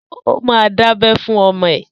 Ó ma dábẹ́ fún ọmọ ẹ!